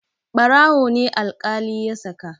Ɓarawo ne alƙali ya saka.